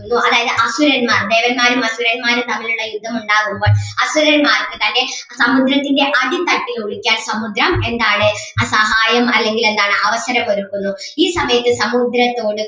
അതായത് അസുരന്മാർ ദേവന്മാരും അസുരന്മാരും തമ്മിൽ ഉള്ള യുദ്ധമുണ്ടാകുമ്പോൾ അസുരന്മാർക്ക് തൻ്റെ സമുദ്രത്തിൻ്റെ അടിത്തട്ടിൽ ഒളിക്കാൻ സമുദ്രം എന്താണ് ആ സഹായം അല്ലെങ്കിൽ എന്താണ് അവസരം ഒരുക്കുന്നു ഈ സമയത്ത് സമുദ്രത്തോട്